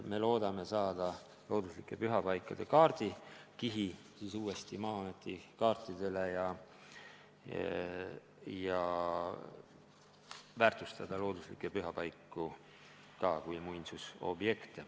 Me loodame looduslike pühapaikade kaardikihi uuesti Maa-ameti kaartidele saada ja väärtustada looduslikke pühapaiku ka kui muinsusobjekte.